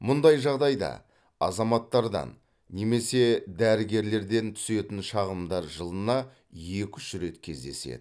мұндай жағдайда азаматтардан немесе дәрігерлерден түсетін шағымдар жылына екі үш рет кездеседі